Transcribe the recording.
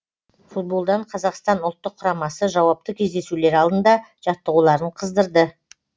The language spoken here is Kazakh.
футболдан қазақстан ұлттық құрамасы жауапты кездесулер алдында жаттығуларын қыздырды